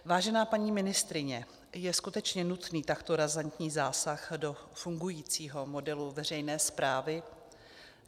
Vážená paní ministryně, je skutečně nutný takto razantní zásah do fungujícího modelu veřejné správy?